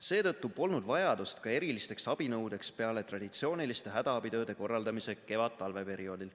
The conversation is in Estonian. Seetõttu polnud vajadust ka erilisteks abinõudeks peale traditsiooniliste hädaabitööde korraldamise kevadtalve perioodil.